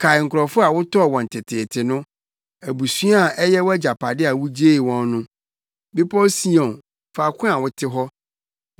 Kae nkurɔfo a wotɔɔ wɔn teteete no, abusua a ɛyɛ wʼagyapade a wugyee wɔn no, Bepɔw Sion, faako a wote hɔ.